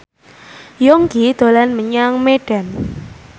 Yongki dolan menyang Medan